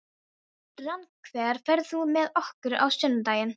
Rannver, ferð þú með okkur á sunnudaginn?